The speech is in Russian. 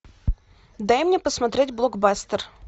дай мне посмотреть блокбастер